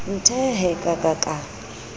nthe hee ka ka ka